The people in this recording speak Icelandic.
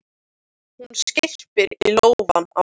Hún skyrpir í lófana á sér.